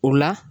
O la